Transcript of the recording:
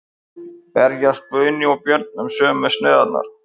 Berjast Guðni og Björn um sömu sneiðarnar?